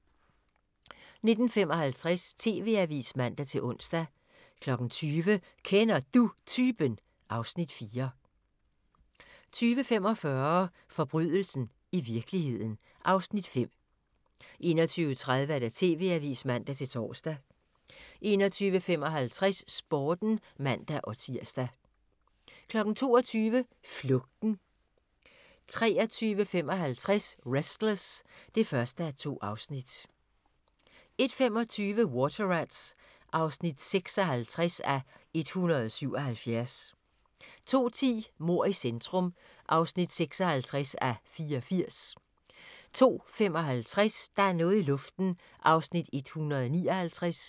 19:55: TV-avisen (man-ons) 20:00: Kender Du Typen? (Afs. 4) 20:45: Forbrydelsen i virkeligheden (Afs. 5) 21:30: TV-avisen (man-tor) 21:55: Sporten (man-tir) 22:00: Flugten 23:55: Restless (1:2) 01:25: Water Rats (56:177) 02:10: Mord i centrum (56:84) 02:55: Der er noget i luften (159:320)